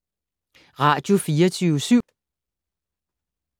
Radio24syv